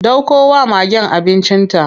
Ɗauko wa magen abincin ta.